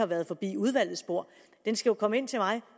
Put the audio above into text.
været forbi udvalgets bord den skal jo komme ind til mig